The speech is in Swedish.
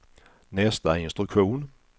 nästa instruktion